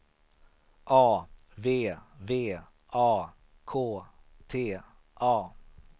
A V V A K T A